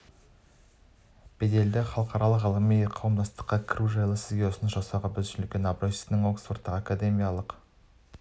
беделді халықаралық ғылыми қауымдастыққа кіру жайлы сізге ұсыныс жасау біз үшін үлкен абырой сіздің оксфордтағы академиялық